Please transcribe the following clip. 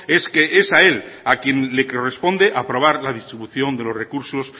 es que es a él a quien le corresponde aprobar la distribución de los recursos